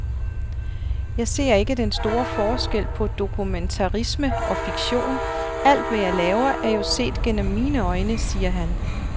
Jeg ser ikke den store forskel på dokumentarisme og fiktion, alt, hvad jeg laver, er jo set gennem mine øjne, siger han.